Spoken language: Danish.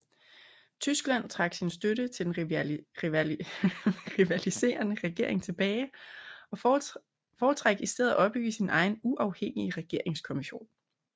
Tyskland trak sin støtte til den rivaliserende regering tilbage og foretrak i stedet at opbygge sin egen uafhængige regeringskommission